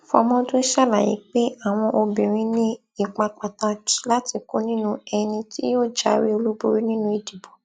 fọmọdún ṣàlàyé pé àwọn obìnrin ní ipa pàtàkì láti kó nínú ẹni tí yóò jáwé olúborí nínú ìdìbò